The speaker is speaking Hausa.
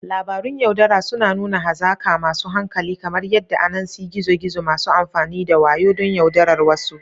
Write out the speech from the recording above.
Labarun yaudara suna nuna hazaka masu hankali, kamar yadda Anansi gizo-gizo, masu amfani da wayo don yaudarar wasu.